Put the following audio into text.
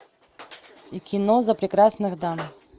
кино за прекрасных дам